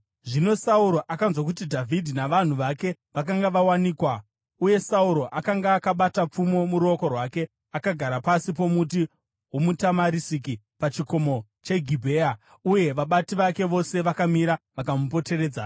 Zvino Sauro akanzwa kuti Dhavhidhi navanhu vake vakanga vawanikwa. Uye Sauro akanga akabata pfumo muruoko rwake, akagara pasi pomuti womutamarisiki pachikomo cheGibhea, uye vabati vake vose vakamira vakamupoteredza.